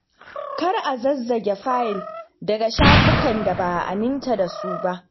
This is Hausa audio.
Kar a zazzage fayil daga shafukan da ba a aminta da su ba.